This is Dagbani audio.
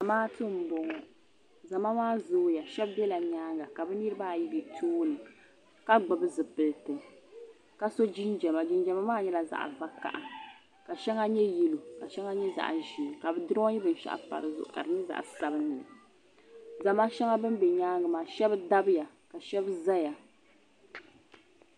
Zamaatu m boŋɔ zama maa zooya shɛba zala nyaanga ka niriba ayi be tooni ka gbibi zipilti ka so jinjiɛma jinjiɛma maa nyɛla zaɣa vakaha ka shɛŋa nyɛ yelo ka shɛŋa nyɛ zaɣa ʒee ka bɛ duroyi binshaɣu mpa dizuɣu ka di nyɛ zaɣa sabinli zama shɛba ban be nyaanga maa shɛba dabya ka shɛba zaya